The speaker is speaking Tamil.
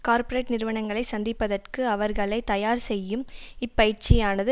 கார்ப்பரேட் நிறுவனங்களை சந்திப்பதற்கு அவர்களை தயார் செய்யும் இப்பயிற்சியானது